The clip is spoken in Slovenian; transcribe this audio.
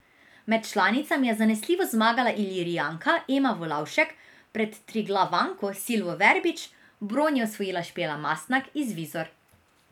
Med članicami je zanesljivo zmagala ilirijanka Ema Volavšek pred triglavanko Silvo Verbič, bron je osvojila Špela Mastnak iz Vizor.